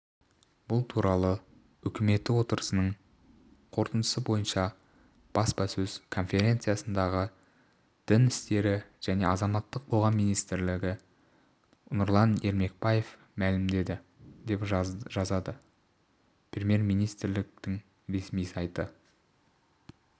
бұл туралы үкіметі отырысының қорытындысы бойынша баспасөз конференциясында дін істері және азаматтық қоғам министрі нұрлан ермекбаев мәлімдеді деп жазады премьер-министрдіңресми сайты